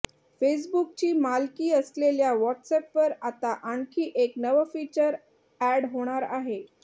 फेसबूकची मालकी असलेल्या व्हॉट्सअॅपवर आता आणखी एक नवं फीचर अॅड होणार आहे